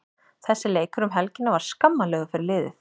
Þessi leikur um helgina var skammarlegur fyrir liðið.